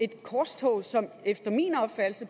et korstog som efter min opfattelse